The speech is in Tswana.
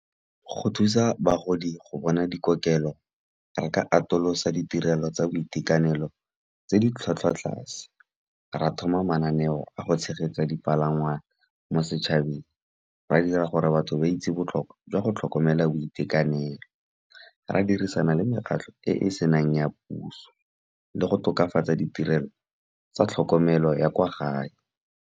Go thusa bagodi go bona dikokelo re ka atolosa ditirelo tsa boitekanelo tse di tlhwatlhwa tlase. Ra thoma mananeo a go tshegetsa dipalangwa mo setšhabeng, ra dira gore batho ba itse botlhokwa jwa go tlhokomela boitekanelo. Ra dirisana le mekgatlho e e senang ya puso, le go tokafatsa ditirelo tsa tlhokomelo ya kwa gae.